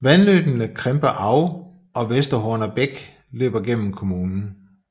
Vandløbene Kremper Au og Westerhorner Bek løber gennem kommunen